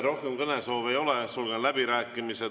Rohkem kõnesoove ei ole, sulgen läbirääkimised.